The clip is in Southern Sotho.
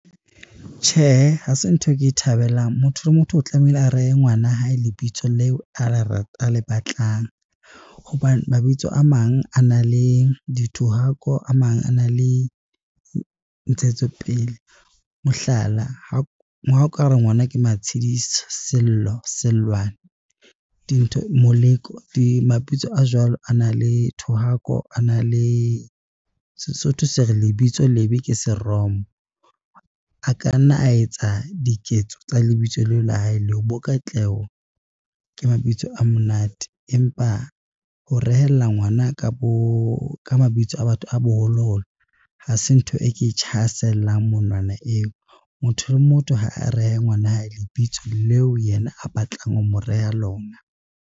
Tjhe, ha se ntho e ke e thabelang motho le motho o tlamehile a rehe ngwana hae lebitso leo a le batlang. Hobane mabitso a mang a nang le dithohako a mang a na le ntshetsopele, mohlala, ha o ka re ngwana ke Matshidiso, Sello, Sellwane, dintho Moleko. Mabitso a jwalo a na le thohako. A na le . Sesotho se re lebitso lebe ke seromo. A ka nna a etsa diketso tsa lebitso leo la hae leo, bo katleho ke mabitso a monate empa ho rehella ngwana ka mabitso a boholoholo ha se ntho e ke monwana eo, motho le motho ha a rehe ngwana hae lebitso leo yena a batlang ho mo reha lona.